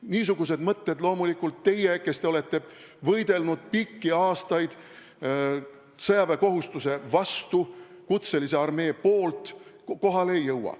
Niisugused mõtted loomulikult teile, kes te olete pikki aastaid võidelnud sõjaväekohustuse vastu ja kutselise armee poolt, kohale ei jõua.